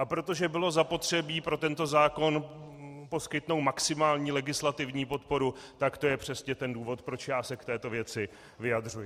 A protože bylo zapotřebí pro tento zákon poskytnout maximální legislativní podporu, tak to je přesně ten důvod, proč já se k této věci vyjadřuji.